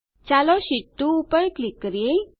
ચાલો શીટ2 પર ક્લિક કરીએ